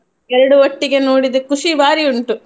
ಎರಡು ಒಟ್ಟಿಗೆ ನೋಡಿದ್ ಖುಷಿ ಬಾರಿ ಉಂಟು.